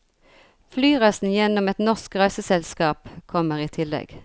Flyreisen gjennom et norsk reiseselskap kommer i tillegg.